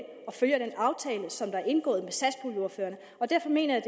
og følger den aftale som der er indgået med satspuljeordførerne og derfor mener jeg